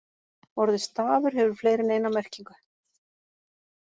Orðið stafur hefur fleiri en eina merkingu.